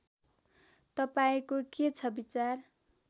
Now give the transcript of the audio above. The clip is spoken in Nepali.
तपाईँको के छ विचार